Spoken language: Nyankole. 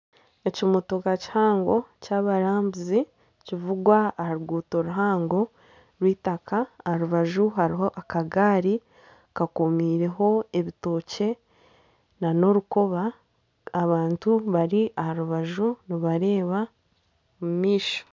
Ekimotoka kihango kyabarambuzi nikivugwa aha ruguuto ruhango rw'eitaka aharubaju hariho akagaari kakomiireho ebitookye nana orukooba abantu bari aharubaju nibareeba omumaisho.